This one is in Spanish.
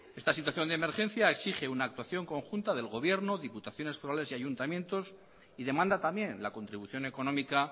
esta situación de emergencia exige una actuación conjunta del gobierno diputaciones forales y ayuntamientos y demanda también la contribución económica